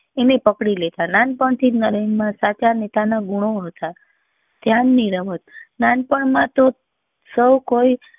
એને પકડી લેતા નાનપણ થી જ નરેન માં સાચા નેતા ના ગુનો હતા ધ્યાન ની રમત નાનપણ માં તો સૌ કોઈ